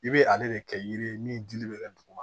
I bɛ ale de kɛ yiri ye min dili bɛ kɛ duguma